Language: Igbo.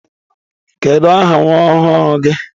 Kedụ aha nwa ọhụrụ gi?